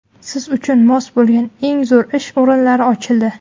Siz uchun mos bo‘lgan eng zo‘r ish o‘rinlari ochildi.